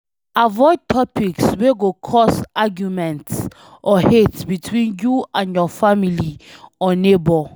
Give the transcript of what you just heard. Avoid topics wey go cause auguement or hate between you and your family or neigbour